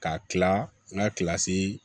Ka kila n ka kilasi